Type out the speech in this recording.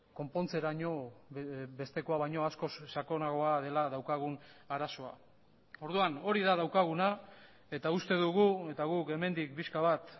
konpontzeraino bestekoa baino askoz sakonagoa dela daukagun arazoa orduan hori da daukaguna eta uste dugu eta guk hemendik pixka bat